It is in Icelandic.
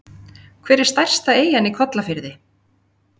Hver er stærsta eyjan í Kollafirði?